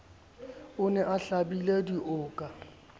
o ne a hlabile dioka